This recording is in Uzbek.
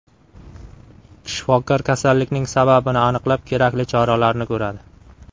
Shifokor kasallikning sababini aniqlab, kerakli choralarni ko‘radi.